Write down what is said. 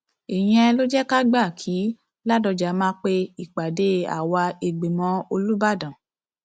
ìyẹn ló jẹ ká gbà kí ládọjà máa pe ìpàdé àwa ìgbìmọ olùbàdàn